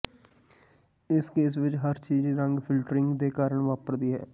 ਇਸ ਕੇਸ ਵਿਚ ਹਰ ਚੀਜ਼ ਰੰਗ ਫਿਲਟਰਿੰਗ ਦੇ ਕਾਰਨ ਵਾਪਰਦੀ ਹੈ